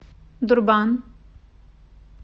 дурбан